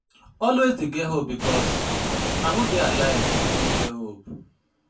Always dey get hope bikos na who dey dey alive fit get hope